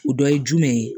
O dɔ ye jumɛn ye